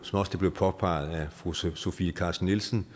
også blev påpeget af fru sofie carsten nielsen